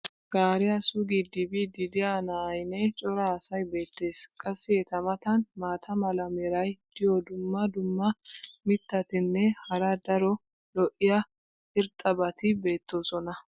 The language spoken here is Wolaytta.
gaariya suggidi biidi diya na"aynne cora asay beetees. qassi eta matan maata mala meray diyo dumma dumma mitatinne hara daro lo'iya irxxabati beetoosona.